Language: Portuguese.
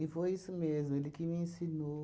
foi isso mesmo, ele que me ensinou.